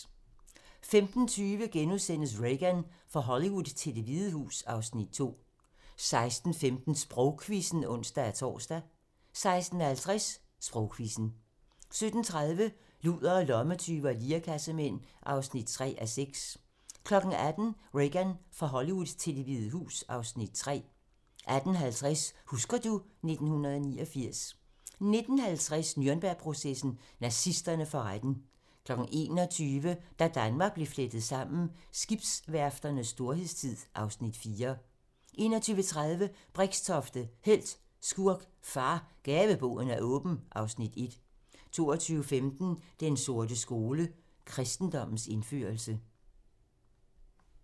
15:20: Reagan - fra Hollywood til Det Hvide Hus (Afs. 2)* 16:15: Sprogquizzen (ons-tor) 16:50: Sprogquizzen 17:30: Ludere, lommetyve og lirekassemænd (3:6) 18:00: Reagan - fra Hollywood til Det Hvide Hus (Afs. 3) 18:50: Husker du ... 1989 19:50: Nürnbergprocessen: Nazisterne for retten 21:00: Da Danmark blev flettet sammen: Skibsværfternes storhedstid (Afs. 4) 21:30: Brixtofte - helt, skurk, far - Gaveboden er åben (Afs. 1) 22:15: Den sorte skole: Kristendommens indførelse